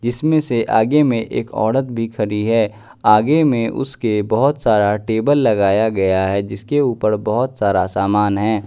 जिसमें से आगे में एक औरत भी खड़ी है आगे में उसके बहोत सारा टेबल लगाया गया है जिसके ऊपर बहोत सारा सामान है।